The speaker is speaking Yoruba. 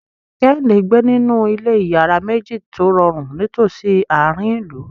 Kehinde ń gbé nínú ilé ìyàrá méjì tó rọrùn nítòsí àárín ìlú.